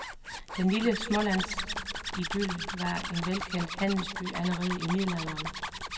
Den lille smålandsidyl var en velkendt handelsby, allerede i middelalderen.